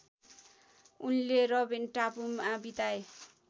उनले रबेन टापुमा बिताए